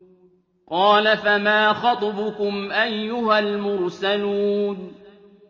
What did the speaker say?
قَالَ فَمَا خَطْبُكُمْ أَيُّهَا الْمُرْسَلُونَ